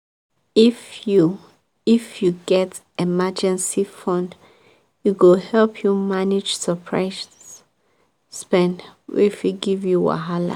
if you if you get emergency fund e go help you manage surprise spend wey fit give you wahala.